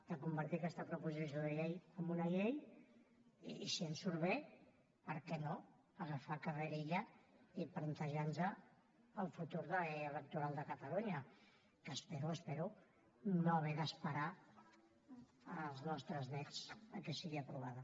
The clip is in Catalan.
de convertir aquesta proposició de llei en una llei i si em surt bé per què no agafar carrerilla i plantejar nos el futur electoral de catalunya que espero espero no haver d’esperar als nostres néts perquè sigui aprovada